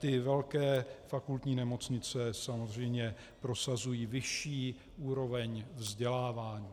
Ty velké fakultní nemocnice samozřejmě prosazují vyšší úroveň vzdělávání.